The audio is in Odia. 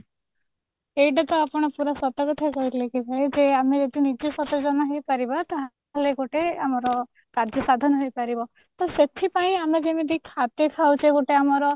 ଏଇଟା ତ ଆପଣ ପୁରା ସତ କଥା କହିଲେ କି ଭାଇ ଯେ ଆମେ ଯଦି ନିଜେ ସଚେତନ ହେଇପାରିବା ତାହାଲେ ଗୋଟେ ଆମର କାର୍ଯ୍ୟସାଧନ ହେଇପାରିବ ତ ସେଥିପାଇଁ ଆମେ ଯେମିତି ଖାଦ୍ୟ ଖାଉଛେ ଗୋଟେ ଆମର